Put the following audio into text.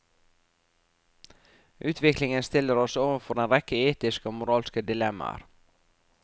Utviklingen stiller oss overfor en rekke etiske og moralske dilemmaer.